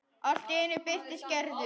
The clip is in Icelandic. Allt í einu birtist Gerður.